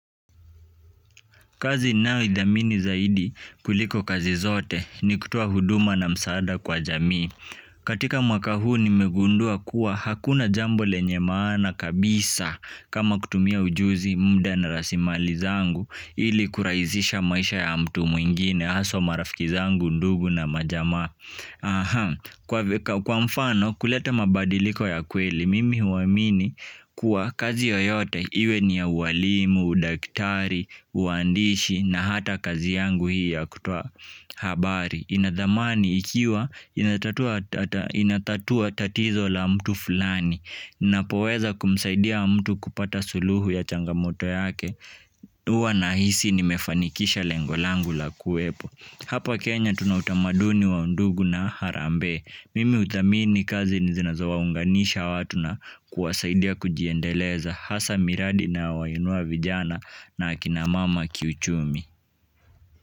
Kazi ninayoidhamini zaidi kuliko kazi zote ni kutoa huduma na msaada kwa jamii. Katika mwaka huu nimegundua kuwa hakuna jambo lenye maana kabisa kama kutumia ujuzi mda na rasimali zangu ili kurahizisha maisha ya mtu mwingine haswa marafiki zangu ndugu na majamaa. Kwa mfano kuleta mabadiliko ya kweli mimi huamini kuwa kazi yoyote iwe ni ya uwalimu, udaktari, uandishi na hata kazi yangu hii ya kutoa habari ina dhamani ikiwa inatatua inatatua tatizo la mtu fulani ninapoweza kumsaidia mtu kupata suluhu ya changamoto yake huwa nahisi nimefanikisha lengo langu la kuwepo. Hapa Kenya tuna utamaduni wa undugu na harambee. Mimi huthamini kazi ni zinazo waunganisha watu na kuwasaidia kujiendeleza hasa miradi inayowainua vijana na akina mama kiuchumi.